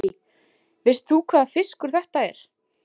Lillý: Veist þú hvaða fiskur þetta er?